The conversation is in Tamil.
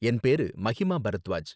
என் பேரு மஹிமா பரத்வாஜ்.